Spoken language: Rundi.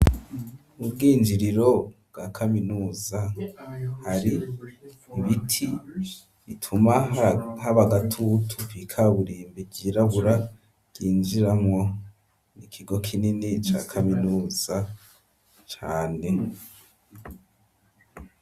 Ubwinjiriro bwa kaminuza hari ibiti bituma haba agatutu kw'ikaburimbi ryirabura ryinjiramwo mu kigo kinini ca kaminuza cane.